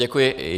Děkuji.